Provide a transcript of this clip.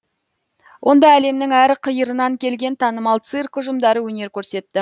онда әлемнің әр қиырынан келген танымал цирк ұжымдары өнер көрсетті